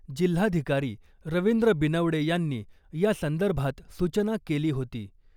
जिल्हाधिकारी रवींद्र बिनवडे यांनी या संदर्भात सूचना केली होती .